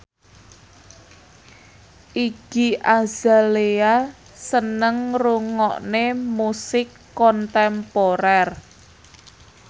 Iggy Azalea seneng ngrungokne musik kontemporer